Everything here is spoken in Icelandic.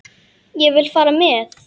Ég vil fara með.